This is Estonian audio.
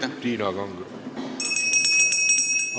Üks hetk, Tiina Kangro!